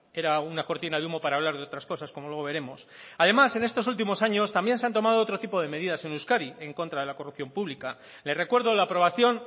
era una cortina de humo para hablar de otras cosas como luego veremos además en estos últimos años también se han tomado otro tipo de medidas en euskadi en contra de la corrupción pública le recuerdo la aprobación